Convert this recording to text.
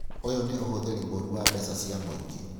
Ũyũ nĩ ũhũthĩri mũru wa mbeca cia mũingĩ